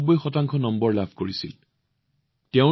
আপোনালোকে এইটো জানি আচৰিত হব পাৰে কিন্তু এয়া সঁচা